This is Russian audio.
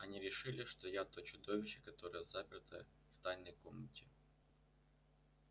они решили что я то чудовище которое заперто в тайной комнате